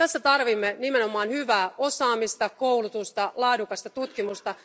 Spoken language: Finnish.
Tässä tarvitsemme nimenomaan hyvää osaamista, koulutusta, laadukasta tutkimusta.